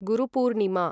Guru Purnima